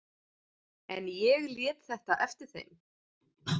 En ég lét þetta eftir þeim.